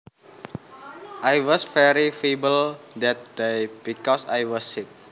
I was very feeble that day because I was sick